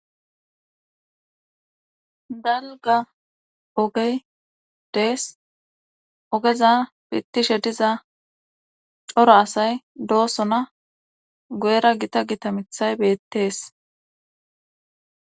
Dalga ogey dees ogeza pittishe diza coro asay doosona goera gita gitamithay beettees.